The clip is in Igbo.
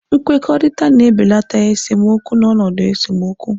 Nkwekọrịta na-ebelata esemokwu n'ọnọdụ esemokwu.